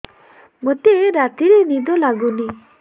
ମୋତେ ରାତିରେ ନିଦ ଲାଗୁନି